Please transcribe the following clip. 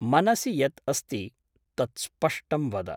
मनसि यत् अस्ति तत् स्पष्टं वद ।